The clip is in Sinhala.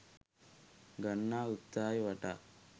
ගන්නා උත්සාහය වටා